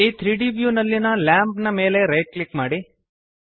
ಈ 3ದ್ ವ್ಯೂ ನಲ್ಲಿಯ ಲ್ಯಾಂಪ್ ನ ಮೇಲೆ ರೈಟ್ ಕ್ಲಿಕ್ ಮಾಡಿ